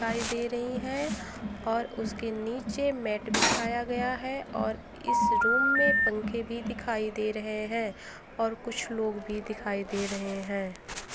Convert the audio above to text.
दिखाई दे रही है और उसके नीचे मेट बिछाया गया है और इस रूम में पंखे भी दिखाई दे रहे हैं और कुछ लोग भी दिखाई दे रहे हैं।